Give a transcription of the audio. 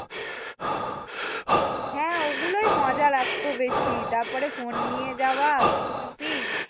হ্যাঁ ওগুলোই মজা লাগতো বেশি। তারপরে ফোন নিয়ে যাওয়া চুপি চুপি।